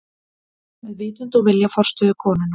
Með vitund og vilja forstöðukonunnar.